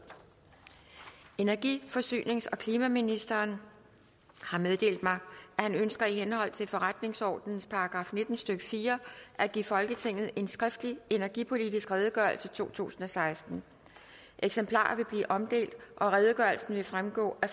energi forsynings og klimaministeren har meddelt mig at han ønsker i henhold til forretningsordenens § nitten stykke fire at give folketinget en skriftlig energipolitisk redegørelse totusinde og sekstende eksemplarer vil blive omdelt og redegørelsen vil fremgå af